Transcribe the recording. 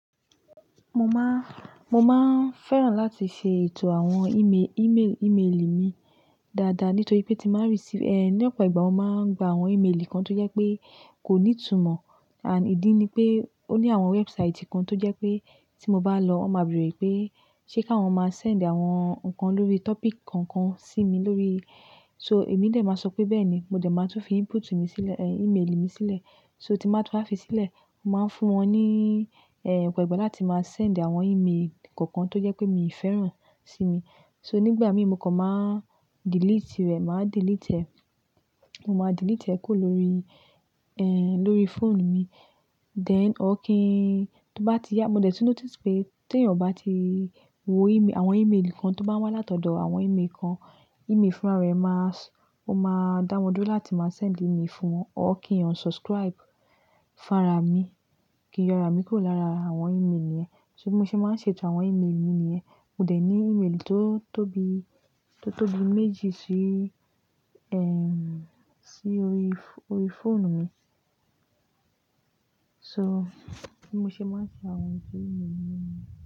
Mo máa, mo máa ń fẹ́ràn láti ṣe ètò àwọn email, email, email mi dáadáa nítorí pé tí màá receive, ẹh, ní ọ̀pọ̀ ìgbà wọ́n máa ń gba àwọn email kan tó yẹ pé kò ní ìtumọ̀ and ìdí ni pé ó ní àwọn website kan tó jẹ́ pé tí mo bá lọ, wọ́n máa bèrè pé ṣé kí wọ́n máa send àwọn nǹkan lórí topic kankan sí mi lórí. So èmi ni ẹ́ máa sọ pé bẹ́ẹ̀ni, mo dẹ̀ máa tún fi input mi sílẹ̀, ẹh, email mi sílẹ̀. So tí màá tún fi sílẹ̀, mo máa ń fún wọn ní, ẹh, ọ̀pọ̀ ìgbà láti máa send àwọn email kankan tó jẹ pé mi fẹ́ràn sí mi. So nígbà mìíràn mo kọ̀ má delete rẹ̀, màá delete ẹ. Mo máa delete ẹ kó lórí, ẹh, lórí phone mi. Then ọ́ kí n tó bá ti yá, mo dẹ̀ tún notice pé tí èèyàn bá ti wo email, àwọn email kan tó bá wá látọ̀dọ̀ àwọn email kan, email fúnra rẹ̀ máa s-- ó máa dáwọ́ dúró láti máa send email fún wọn. Ọ́ kí èèyàn unsubscribe fúnra mi, kí ìyọ̀ra mi kó lára àwọn email yẹn. So bi mo ṣe máa ń ṣe ètò àwọn email mi nìyẹn. Mo dẹ̀ ní email tó tóbi, tó tóbi méjì sí, ẹh, sí orí, orí fóònù mi. So bi mo ṣe máa ń ṣe àwọn ètò email mi ni yẹn.